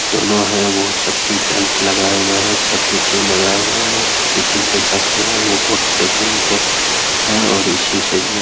दोनों है वो सेफ्टी बेल्ट लगाये हुए हैं सेफ्टी ट्यूब लगाए हुए हैं और सेफ्टी ट्यूब के साथ जो है वो बहुत सुकून ते है और इसी से जो है --